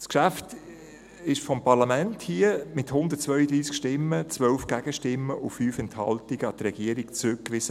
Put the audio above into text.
Das Geschäft wurde vom Parlament mit 132 Stimmen, 12 Gegenstimmen und 5 Enthaltungen an die Regierung zurückgewiesen.